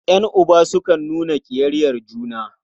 Ƴan'uba sukan nuna ƙiyayyar juna.